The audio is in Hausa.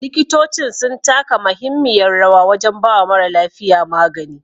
Likitocin sun taka mahimmiyar rawa wajan bawa mara lafiya magani